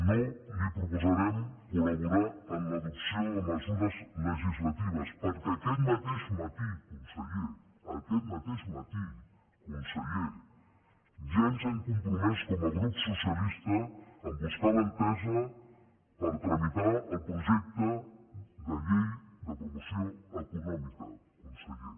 no li proposarem col·laborar en l’adopció de mesures legislatives perquè aquest mateix matí conseller aquest mateix matí conseller ja ens hem compromès com a grup socialista a buscar l’entesa per tramitar el projecte de llei de promoció econòmica conseller